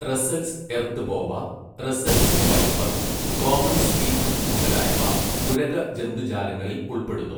Russell's earth boa, Russell's viper, common skink മുതലായവ ഉരഗ ജന്തുജാലങ്ങളിൽ ഉൾപ്പെടുന്നു.